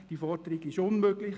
Diese Forderung ist unmöglich.